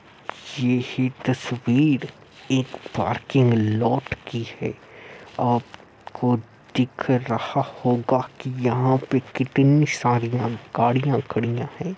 ये ही तस्वीर एक पार्किंग लोट की है आपको दिख रहा होगा कि यहाँ पे कितनी सारिया गाड़ियां खड़ियां हैं।